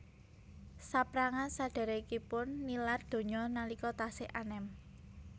Saprangan sadhèrèkipun nilar donya nalika tasih anem